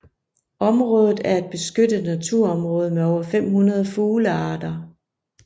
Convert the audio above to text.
Området er et beskyttet naturområde med over 500 fuglearter